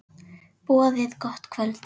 Boðið gott kvöld.